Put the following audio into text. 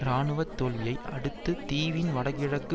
இராணுவ தோல்வியை அடுத்து தீவின் வடகிழக்கு